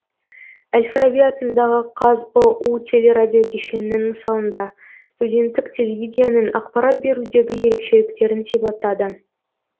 әл фараби атындағы қазұу телерадиокешенінің мысалында студенттік телевидениенің ақпарат берудегі ерекшеліктерін сипаттады